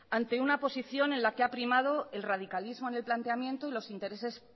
ante una posición en la que ha primado el radicalismo en el planteamiento y los intereses